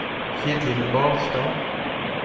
Ketil Barstad